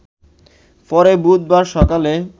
পরে বুধবার সকালে